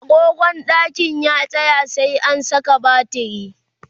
agogon ɗakin ya tsaya, sai an Saka batiri